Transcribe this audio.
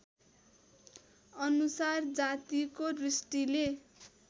अनुसार जातिको दृष्टिले